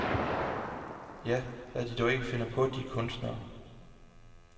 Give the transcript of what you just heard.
Ja, hvad de dog ikke finder på, de kunstnere.